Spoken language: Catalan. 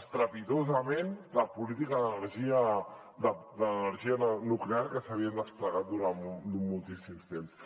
estrepitosament la política de l’energia nuclear que s’havia desplegat durant moltíssim temps